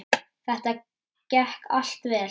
Þetta gekk allt vel.